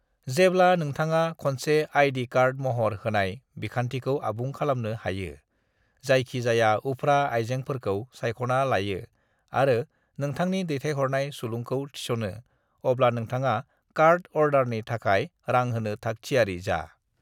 "जेब्ला नोंथाङा खनसे आई.डी. कार्ड महर होनाय बिखान्थिखौ आबुं खालामनो हायो, जायखि जाया उफ्रा आइजेंफोरखौ सायख'ना लायो आरो नोंथांनि दैथाइहरनाय सुलुंखौ थिस'नो, अब्ला नोंथाङा कार्ड अर्डारनि थाखाय रां होनो थाग थियारि जा।"